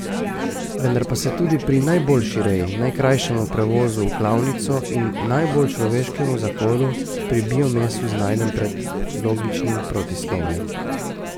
Vendar pa se tudi pri najboljši reji, najkrajšem prevozu v klavnico in najbolj človeškem zakolu pri bio mesu znajdem pred logičnim protislovjem.